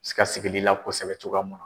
se ka sigili la kosɛbɛ cogoya mun